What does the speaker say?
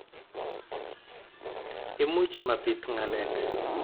Imuch mapit ngalek